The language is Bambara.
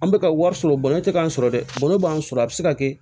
An bɛ ka wari sɔrɔ bɔnɛ tɛ k'an sɔrɔ dɛ bɔnɛ b'an sɔrɔ a bɛ se ka kɛ